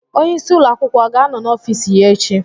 Onyeisi ụlọ akwụkwọ ọ ga-anọ n'ọfiisi ya echi?